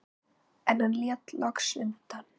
En hann lét loks undan.